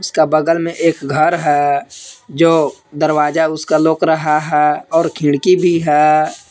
इसका बगल में एक घर है जो दरवाजा उसका लौक रहा है और खिड़की भी है।